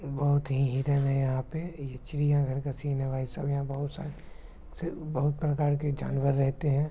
बहुत ही हिरण है यहां पे ये चिड़ियाघर का सीन है भाईसाहब यहाँ बहुत सारे बहुत प्रकार के जानवर रहते है।